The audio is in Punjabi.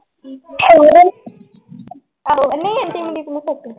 ਹੋਰ ਆਹੋ ਨਹੀਂ ਆਂਟੀ